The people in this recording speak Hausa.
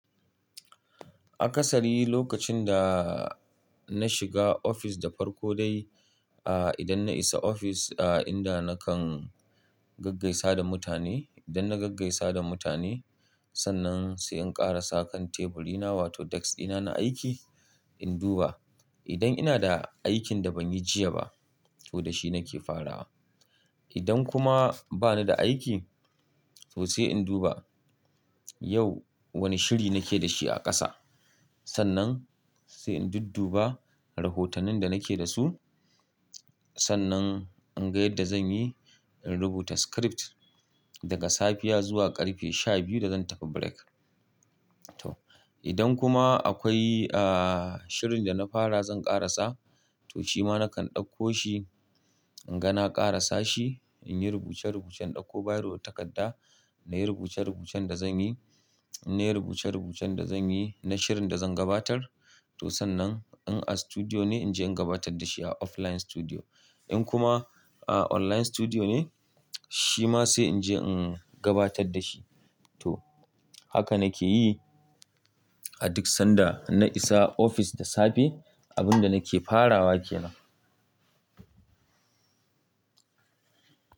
A kasari lokacin da na shiga ofis da farko dai, a idan na isa ofis, a inda nakan gaggaisa da mutane. Idan na gaggaisa da mutane, sannan sai in ƙarasa kan teburi na wato desk dina na aiki, in duba idan ina da aikin da ban yi jiya ba, to da shi nake farawa. Idan kuma ba ni da aiki, to sai in duba yau wane shiri nake da shi a ƙasa. Sannan sai in dudduba rahotonin da nake da su. Sannan in ga yadda zan yi, in rubuta script daga safiya zuwa ƙarfe sha biyu da zan tafi break. To, idan kuma akwai, ah, shirin da na fara zan ƙarasa, to shi ma nakan ɗauko shi, in ga na ƙarasashi, in yi rubuce rubucen in ɗauko biro da takarda na yi rubuce rubucen da zan yi. Na yi rubuce rubucen da zan yi na shirin da zan gabatar. To sannan in a studio ne, in je in gabatar da shi a offline studio. In kuma a online studio ne, shi ma sai in je in gabatar da shi. To, haka nake yi a duk sanda na isa ofis da safe. Abin da nake farawa ke nan.